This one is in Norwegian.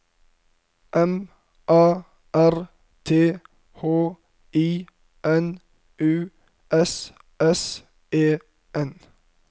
M A R T H I N U S S E N